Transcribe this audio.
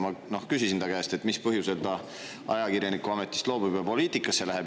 Ma küsisin ta käest, mis põhjusel ta ajakirjaniku ametist loobub ja poliitikasse läheb.